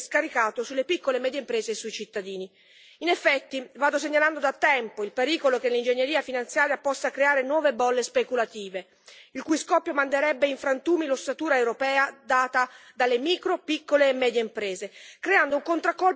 In effetti, vado segnalando da tempo il pericolo che l'ingegneria finanziaria possa creare nuove bolle speculative, il cui scoppio manderebbe in frantumi l'ossatura europea data dalle micro, piccole e medie imprese, creando un contraccolpo che si abbatterebbe sui cittadini in maniera dirompente.